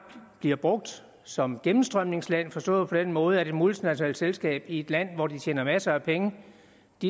bliver brugt som gennemstrømningsland forstået på den måde at et multinationalt selskab i et land hvor de tjener masser af penge